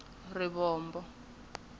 rivombo